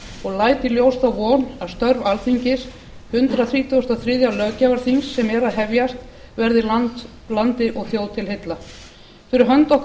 og læt í ljós þá von að störf alþingis hundrað þrítugasta og þriðja löggjafarþings sem er að hefjast verði landi og þjóð til heilla fyrir hönd okkar